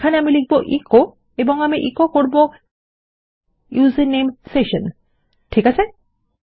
এখানে আমি লিখব এচো এবং আমি এচো করব ইউজারনেম সেশন ঠিক আছে160